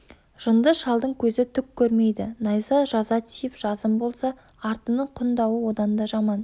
жынды шалдың көзі түк көрмейді найза жаза тиіп жазым болса артының құн дауы одан да жаман